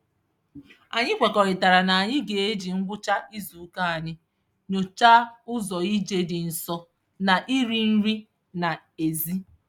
Anyị kwekọrịtara na anyị ga-eji ngwụcha izuụka anyị nyochaa ụzọ ije dị nso na iri nri n'ezi.